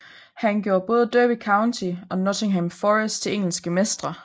Han gjorde både Derby County og Nottingham Forest til engelske mestre